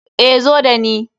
Eh, zo da ni.